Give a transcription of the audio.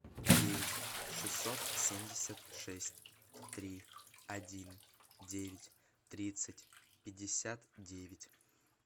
девять шестьсот семьдесят шесть три один девять тридцать пятьдесят девять